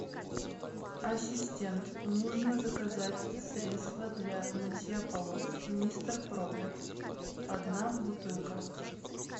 ассистент нужно заказать средство для мытья полов мистер пропер одна бутылка